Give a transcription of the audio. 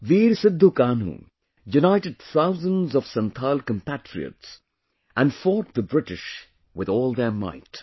Veer Sidhu Kanhu united thousands of Santhal compatriots and fought the British with all their might